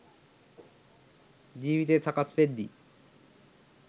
ජීවිතය සකස් වෙද්දි